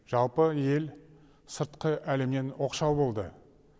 жалпы ел сыртқы әлемнен оқшау болды